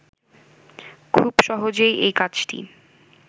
খুব সহজেই এই কাজটি